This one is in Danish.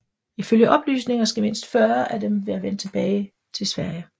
Ifølge oplysninger skal mindst 40 af dem være vendt tilbage til Sverige